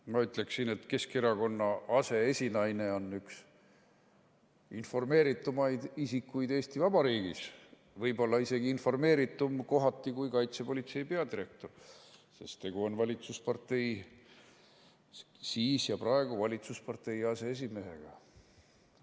Ma ütleksin, et Keskerakonna aseesinaine on üks informeeritumaid isikuid Eesti Vabariigis, võib-olla isegi informeeritum kohati kui kaitsepolitsei peadirektor, sest tegu on valitsuspartei – siis ja praegu – aseesimehega.